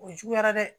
O juguyara dɛ